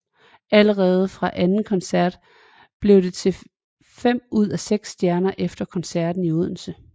Allerede fra anden koncert blev det til fem ud af seks stjerner efter koncerten i Odense